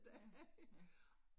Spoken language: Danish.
Ja, ja